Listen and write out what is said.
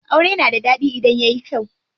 Aure na da ɗaɗi idan yayi kyau.